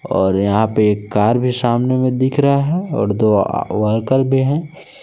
और यहां पे एक कार भी सामने में दिख रहा है और दो आ वर्कर भी हैं।